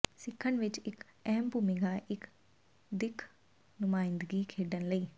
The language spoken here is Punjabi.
ਸਿੱਖਣ ਵਿੱਚ ਇੱਕ ਅਹਿਮ ਭੂਮਿਕਾ ਇੱਕ ਦਿੱਖ ਨੁਮਾਇੰਦਗੀ ਖੇਡਣ ਲਈ